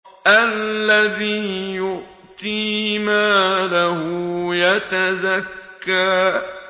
الَّذِي يُؤْتِي مَالَهُ يَتَزَكَّىٰ